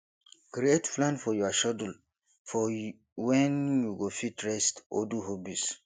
create plan for your schedule for when you go fit rest or do hobbies